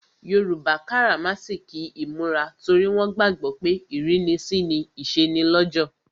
Yoruba karamasiki imura torí wọn gbàgbó pé ìrínisí ni ìsọnilọ́jọ̀.